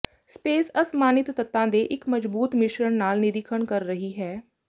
space ਅਸਮਾਨਿਤ ਤੱਤਾਂ ਦੇ ਇੱਕ ਮਜਬੂਤ ਮਿਸ਼ਰਣ ਨਾਲ ਨਿਰੀਖਣ ਕਰ ਰਹੀ ਹੈ